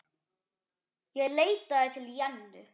Ég leitaði til Jennu.